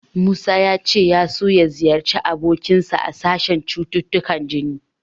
Musa ya ce ya so ya ziyarci abokinsa a sashen cututtukan jini.